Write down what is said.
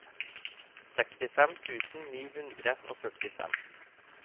sekstifem tusen ni hundre og førtifem